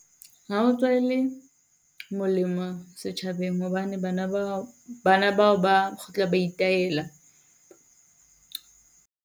Molemo setjhabeng hobane bana bao, bana bao ba kgutla ba itaela.